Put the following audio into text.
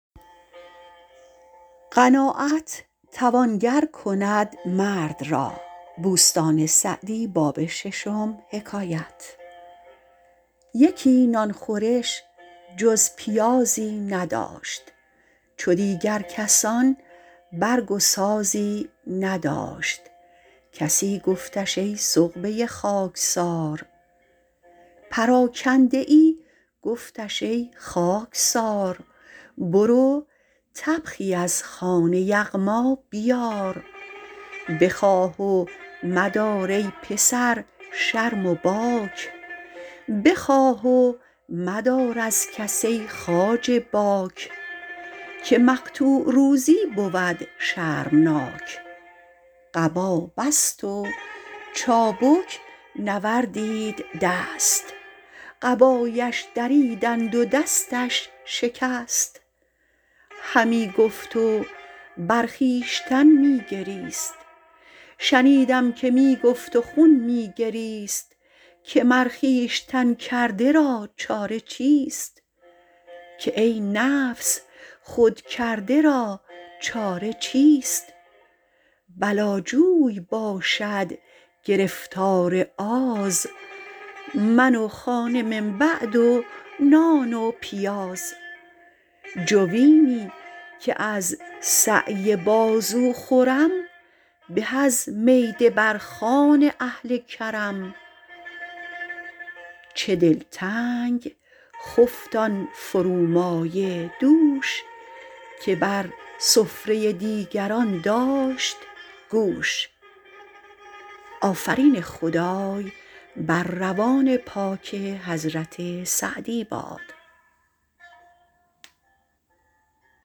یکی نان خورش جز پیازی نداشت چو دیگر کسان برگ و سازی نداشت پراکنده ای گفتش ای خاکسار برو طبخی از خوان یغما بیار بخواه و مدار از کس ای خواجه باک که مقطوع روزی بود شرمناک قبا بست و چابک نوردید دست قبایش دریدند و دستش شکست شنیدم که می گفت و خون می گریست که ای نفس خودکرده را چاره چیست بلا جوی باشد گرفتار آز من و خانه من بعد و نان و پیاز جوینی که از سعی بازو خورم به از میده بر خوان اهل کرم چه دلتنگ خفت آن فرومایه دوش که بر سفره دیگران داشت گوش